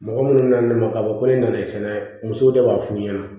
Mɔgɔ minnu nana ne ma ka fɔ ko ne nana sɛnɛ musow de b'a f'u ɲɛna